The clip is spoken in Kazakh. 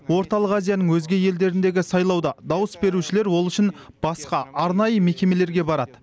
орталық азияның өзге елдеріндегі сайлауда дауыс берушілер ол үшін басқа арнайы мекемелерге барады